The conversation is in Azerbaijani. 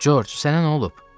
Corc, sənə nə olub?